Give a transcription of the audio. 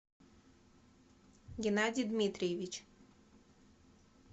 геннадий дмитриевич